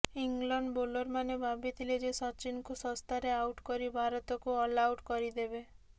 England ବୋଲରମାନେ ଭାବିଥିଲେ ଯେ ସଚିନଙ୍କୁ ଶସ୍ତାରେ ଆଉଟ୍ କରି ଭାରତକୁ ଅଲଆଉଟ୍ କରିଦେବେ